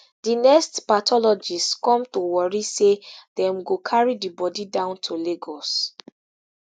di next pathologist come to warri say dem go carry di bodi down to lagos